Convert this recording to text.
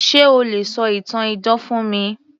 Se o lè ṣọ ìtàn idán fún mi